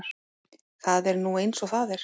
Það er nú eins og það er.